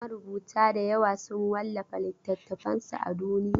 Marubuta dayawa sun wallafa littatafansu a duniya.